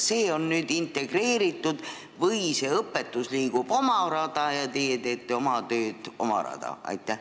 Kas need asjad on nüüd integreeritud või liigub see õpetus ikka oma rada ja teie teete enda tööd omaette?